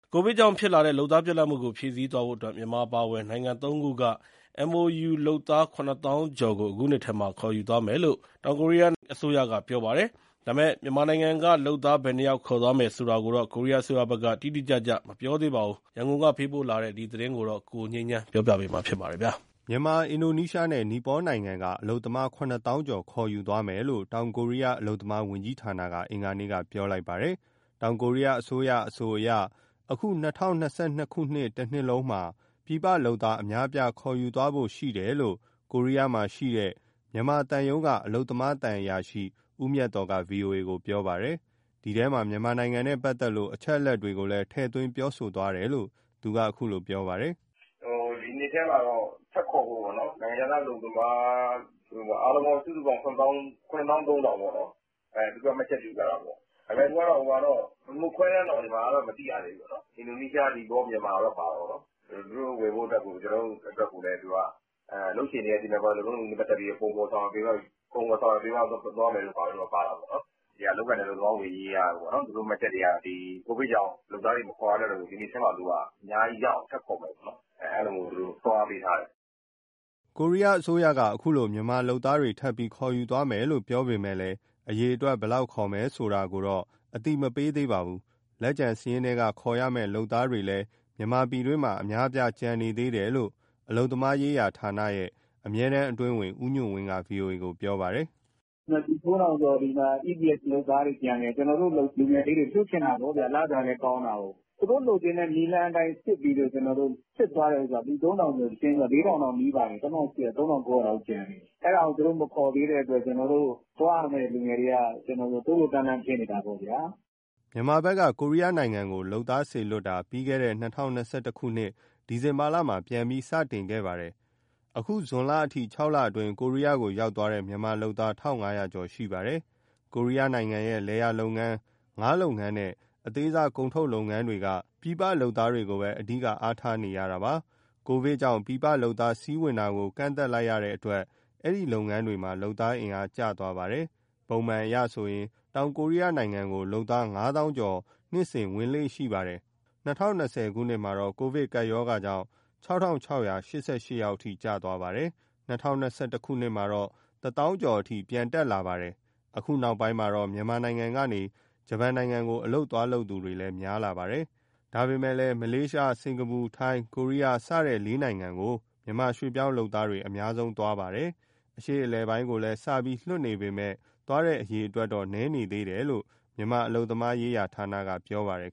ကိုဗစ်ကြောင့်ဖြစ်လာတဲ့ လုပ်သားပြတ်လပ်မှုကို ဖြည့်ဆည်းသွားဖို့အတွက် မြန်မာအပါအဝင် နိုင်ငံသုံးခုက MoU လုပ်သား ၇၀,၀၀၀ ကျော်ကို အခုနှစ်ထဲမှာ ခေါ်ယူသွားမယ်လို့ ကိုရီးယားအစိုးရက ပြောပါတယ်။ ဒါပေမဲ့ မြန်မာနိုင်ငံကလုပ်သား ဘယ်နှယောက် ခေါ်သွားမယ်ဆိုတာကိုတော့ ကိုရီးယားအစိုးရဘက်က တိတိကျကျမပြောသေးပါဘူး။ ရန်ကုန်ကပေးပို့ထားတဲ့ ဒီသတင်းကို ကိုငြိမ်းချမ်းက တင်ပြပေးထားပါတယ်။ မြန်မာ၊ အင်ဒိုနီးရှားနဲ့ နီပေါနိုင်ငံက အလုပ်သမား ၇၀,၀၀၀ ကျော် ခေါ်ယူသွားမယ်လို့ တောင်ကိုရီးယားအလုပ်သမားဝန်ကြီးဌာနက အင်္ဂါနေ့က ပြောလိုက်ပါတယ်။ တောင်ကိုရီးယားအစိုးရ ပြောပုံအရဆိုရင် အခု ၂၀၂၂ တနှစ်လုံးမှာ ပြည်ပလုပ်သား အများအပြား ခေါ်ယူသွားဖို့ရှိတယ်လို့ ကိုရီးယားမှာရှိတဲ့ မြန်မာသံရုံးက အလုပ်သမားသံအရာရှိ ဦးမြတ်သော်က ဗွီအိုအေကိုပြောပါတယ်။ ဒီထဲမှာ မြန်မာနိုင်ငံနဲ့ပတ်သက်တဲ့ အချက်အလက်တွေကိုလည်း ထည့်သွင်းပြောသွားတယ်လို့ သူကအခုလိုပြောပါတယ်။ " ဒီနှစ်ထဲမှာ ထပ်ခေါ်ဖို့ပေါ့နော် နိုင်ငံခြားသားအလုပ်သမား အားလုံးပေါင်းစုစုပေါင်း ၇၃,၀၀၀ ပေါ့နော်၊ သူတို့က မှတ်ချက်ပြုထားတာပေါ့။ မြန်မာကတော့ ခွဲတမ်းတော့ မသိရသေးဘူး။ အင်ဒိုနီးရှား၊ မြန်မာ၊ နီပေါတော့ ပါတာပေါ့နော်။ ကျနော်တို့အတွက်ကိုလည်း သူက အလုပ်ရှင်တွေရဲ့ စီမံခန့်ခွဲမှု၊ လုပ်ထုံးလုပ်နည်းနဲ့ ပတ်သက်ပြီး ပုံဖော်၊ ဆောင်ရွက်ပေးသွားမယ်တို့ ပါတာပေါ့နော်။ (ကိုရီးယား) အလုပ်အကိုင်နှင့် အလုပ်သမားဝန်ကြီးက သူတို့မှတ်ချက်တွေက ကိုဗစ်ကြောင့် လုပ်သားတွေ မခေါ်ရတော့ဘူး၊ ဒီနှစ်ထဲမှာသူက အများကြီးရအောင် ထပ်ခေါ်မယ်ပေါ့နော်။ အဲလိုသူတို့ လုပ်ပေးထားတယ်။" ကိုရီးယားအစိုးရက အခုလို မြန်မာလုပ်သားတွေ ထပ်ပြီးခေါ်ယူသွားမယ်လို့ ပြောပေမဲ့လည်း အရေအတွက် ဘယ်လောက်ခေါ်မယ်ဆိုတာ အသိမပေးသေးပါဘူး။ လက်ကျန်စာရင်းထဲက ခေါ်ရမယ့်လုပ်သားတွေလည်း မြန်မာပြည်တွင်းမှာ အများအပြား ကျန်နေသေးတယ်လို့ မြန်မာအလုပ်သမားရေးဌာနရဲ့ အမြဲတမ်းအတွင်းဝန် ဦးညွှန့်ဝင်းက ဗွီအိုအေကို ပြောပါတယ်။ " လူ ၃,၀၀၀ ကျော်ဒီမှာ EPS ( ကိုရီးယားအလုပ်အကိုင် အရည်အချင်းစစ်စာမေးပွဲ) လုပ်သားတွေ ကျန်သေးတယ်။ ကျနော်တို့လူငယ်လေးတွေ လွှတ်ချင်တာပေါ့ဗျ၊ လစာလည်းကောင်းတာကိုး။ သူတို့လိုချင်တဲ့ နည်းလမ်းအတိုင်း ကျနော်တို့စစ်သွားတဲ့ဟာ လူ ၃,၀၀၀ ကျော်၊ ၄,၀၀၀ တောင်နီးပါတယ် ၃,၉၀၀ လောက်ကျန်တယ်။ အဲဒါကို သူတို့မခေါ်သေးတဲ့အတွက် ကျနော်တို့ သွားရမယ့်လူငယ်တွေက တိုးလိုးတန်းလန်း ဖြစ်နေတာပေါ့ဗျာ။" မြန်မာဘက်က ကိုရီးယားကို လုပ်သားစေလွှတ်တာကို ပြီးခဲ့တဲ့ ၂၀၂၁ ဒီဇင်ဘာမှာ ပြန်ပြီး စတင်ခဲ့ပါတယ်။ အခုဇွန်လအထိ ခြောက်အတွင်း ကိုရီးယားကိုရောက်သွားတဲ့ မြန်မာလုပ်သားက ၁,၅၀၀ ကျော်ရှိပါတယ်။ ကိုရီးယားနိုင်ငံရဲ့ လယ်လုပ်ငန်း၊ ငါးလုပ်ငန်းနဲ့ အသေးစားကုန်ထုတ် လုပ်ငန်းတွေက ပြည်ပလုပ်သားတွေကိုပဲ အဓိကအားထားရတာပါ။ ကိုဗစ်ကြောင့် ပြည်ပလုပ်သား စီးဝင်တာ ကန့်သတ်လိုက်ရလို့ ဒီလုပ်ငန်းတွေမှာ လုပ်သားအင်အား ကျသွားပါတယ်။ ပုံမှန်အရဆိုရင် တောင်ကိုရီးယားနိုင်ငံကို လုပ်သား ၅၀,၀၀၀ ကျော်နှစ်တိုင်း ဝင်လေ့ရှိပါတယ်။၂၀၂၀မှာတော့ ကိုဗစ်ကြောင့် ၆,၆၈၈ ယောက်အထိ ကျသွားတာပါ။ ၂၀၂၁ မှာတော့ ၁၀,၀၀၀ ကျော်အထိ ပြန်တက်လာတာပါ။ အခုနောက်ပိုင်းမှာ မြန်မာနိုင်ငံကနေ ဂျပန်နိုင်ငံကို အလုပ်သွားလုပ်သူတွေလည်း များလာပါတယ်။ ဒါပေမဲ့ မလေးရှား၊ စင်္ကာပူ၊ ထိုင်း၊ ကိုရီးယား စတဲ့ လေးနိုင်ငံကို မြန်မာရွှေ့ပြောင်းလုပ်သားတွေ အများဆုံးသွားတာ ဖြစ်ပါတယ်။ အရှေ့အလယ်ပိုင်းကိုလည်း စပြီးလွှတ်နေပေမဲ့ သွားတဲ့အရေအတွက်တော့ နည်းသေးတယ်လို့ မြန်မာအလုပ်သမားရေးဌာနက ပြောပါတယ်